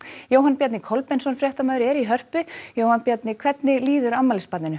Jóhann Bjarni Kolbeinsson fréttamaður er í Hörpu Jóhann Bjarni hvernig líður afmælisbarninu